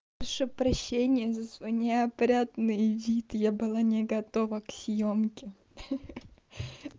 прошу прощения за свой неопрятный вид я была не готова к съёмке ха-ха